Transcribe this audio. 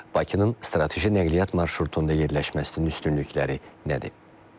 Bakının strateji nəqliyyat marşrutunda yerləşməsinin üstünlükləri nədir?